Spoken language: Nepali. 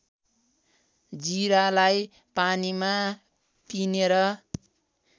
जिरालाई पानीमा पिनेर